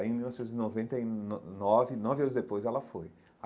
Aí em mil novecentos e noventa e no nove, nove anos depois, ela foi.